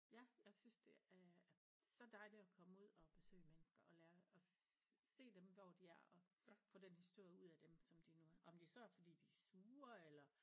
Ja jeg synes det er er så dejligt at komme ud at besøge mennesker og lærer at se dem hvor de er og få den historie ud af dem som de nu om det så er fordi de er sure eller